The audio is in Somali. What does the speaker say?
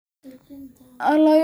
Soo dejinta cuntada way adkaanaysaa.